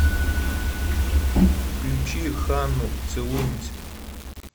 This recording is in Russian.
включи ханну целуемся